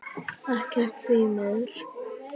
Ekkert, því miður.